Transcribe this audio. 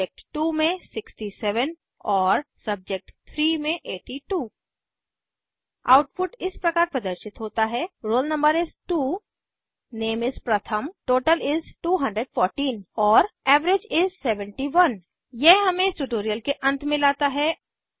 सब्जेक्ट2 में 67 और सब्जेक्ट3 में 82 आउटपुट इस प्रकार प्रदर्शित होता है roll no is 2 name is प्रथम टोटल is 214 और एवरेज is 71 यह हमें इस ट्यूटोरियल के अंत में लाता है